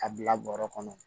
A bila bɔrɔ kɔnɔ